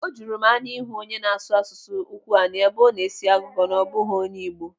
Ọ juru m anya ịhụ onye na-asụ asụsụ Ụkwụani ebe ọ na-esi agụgọ na ọ bụghị onye Igbo.